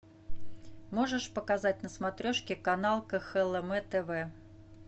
можешь показать на смотрешке канал кхлм тв